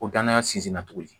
Ko danaya sinsinna tuguni